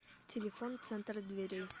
телефон центр дверей